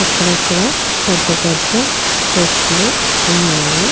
అక్కడక్కడా పెద్ద పెద్ద చెట్లు ఉన్నాయి.